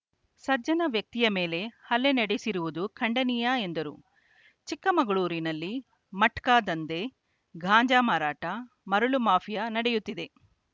ಸಜ್ಜನ ವ್ಯಕ್ತಿಯ ಮೇಲೆ ಹಲ್ಲೆ ನಡೆಸಿರುವುದು ಖಂಡನೀಯ ಎಂದರು ಚಿಕ್ಕಮಗಳೂರಿನಲ್ಲಿ ಮಟ್ಕಾ ದಂಧೆ ಗಾಂಜಾ ಮಾರಾಟ ಮರಳು ಮಾಫಿಯಾ ನಡೆಯುತ್ತಿದೆ